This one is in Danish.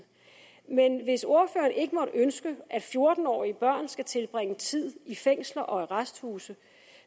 men hvis ordføreren ikke ønsker at fjorten årige børn skal tilbringe tid i fængsler og arresthuse